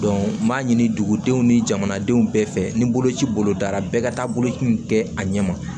n b'a ɲini dugudenw ni jamanadenw bɛɛ fɛ ni boloci bolodara bɛɛ ka taa boloci in kɛ a ɲɛ ma